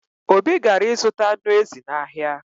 Obi gara ịzụta anụ ezi n’ahịa